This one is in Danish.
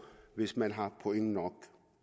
hvis man har point nok